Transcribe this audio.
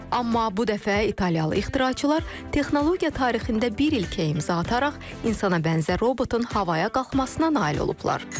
Amma bu dəfə İtaliyalı ixtiraçılar texnologiya tarixində bir ilkə imza ataraq insana bənzər robotun havaya qalxmasına nail olublar.